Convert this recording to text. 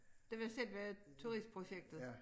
Det var selve turistprojektet